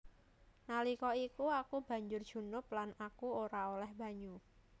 Nalika iku aku banjur junub lan aku ora olèh banyu